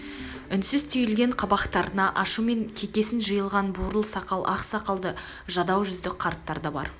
үнсіз түйілген қабақтарына ашу мен кекесін жиылған буырыл сақал ақ сақалды жадау жүзді қарттар да бар